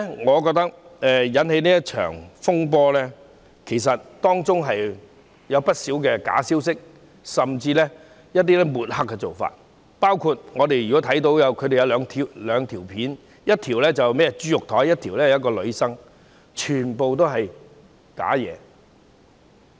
我覺得今次這場風波是由不少假消息甚至抹黑引起，包括我們看到的兩段短片，一段是豬肉檯，一段是一位女生，全都是虛假的。